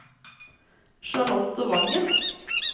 Charlotte Wangen